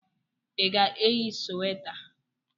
Ị ga-eyi sweta?